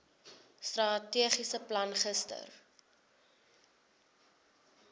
strategiese plan gister